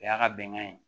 O y'a ka bɛnkan ye